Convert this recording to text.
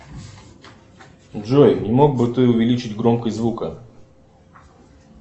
джой не мог бы ты увеличить громкость звука